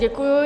Děkuji.